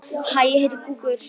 Saknarðu hans?